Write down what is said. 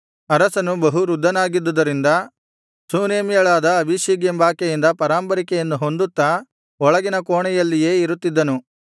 ಅರಸನು ಬಹು ವೃದ್ಧನಾಗಿದುದರಿಂದ ಶೂನೇಮ್ಯಳಾದ ಅಬೀಷಗ್ ಎಂಬಾಕೆಯಿಂದ ಪರಾಂಬರಿಕೆಯನ್ನು ಹೊಂದುತ್ತಾ ಒಳಗಿನ ಕೋಣೆಯಲ್ಲಿಯೇ ಇರುತ್ತಿದ್ದನು